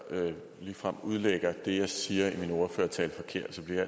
ligefrem udlægger det jeg siger i min ordførertale forkert så bliver